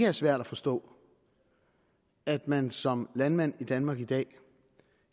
er svært at forstå at man som landmand i danmark i dag